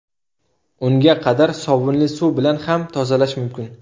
Unga qadar sovunli suv bilan ham tozalash mumkin.